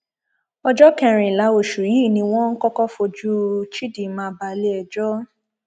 ọjọ kẹrìnlá oṣù yìí ni wọn kọkọ fojú chidinma baleẹjọ